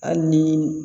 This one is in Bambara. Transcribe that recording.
Hali ni